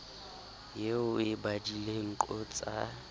eo o e badileng qotsa